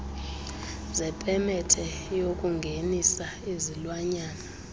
zepemethe yokungenisa izilwanyana